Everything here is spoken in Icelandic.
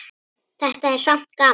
Þetta er samt gaman.